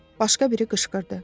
Başqa biri qışqırdı.